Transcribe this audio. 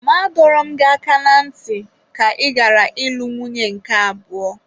Ma adọrọ m gị aka na ntị ka ị ghara ịlụ nwunye nke abụọ!